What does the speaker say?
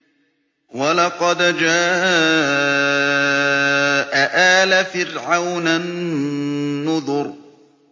وَلَقَدْ جَاءَ آلَ فِرْعَوْنَ النُّذُرُ